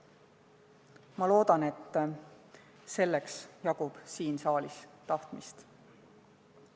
Ma loodan, et selleks jagub siin saalis tahtmist.